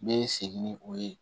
Ne ye segin ni o ye